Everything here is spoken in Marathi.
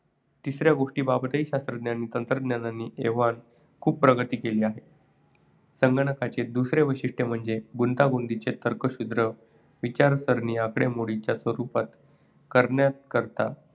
तिसऱ्या गोष्टीबाबतही शास्त्रज्ञांनी तंत्रज्ञांनी एव्हाना खूप प्रगती केली आहे. संगणकांचे दुसरे वैशिष्ट्य म्हणजे गुंतागुंतीच्या तर्कशुद्ध विचारसरणी आकडेमोडीं च्या रूपात करण्याकरता